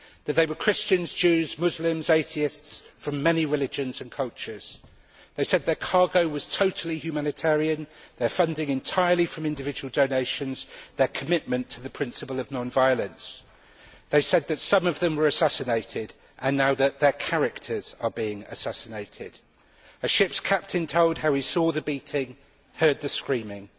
They were Christians, Jews, Muslims, atheists from many religions and cultures. They said their cargo was totally humanitarian, their funding was entirely from individual donations, their commitment was to the principle of non violence. They said that some of them were assassinated, and now their characters are being assassinated. A ship's captain told how he saw the beating, heard the screaming.